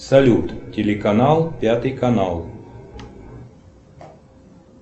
салют телеканал пятый канал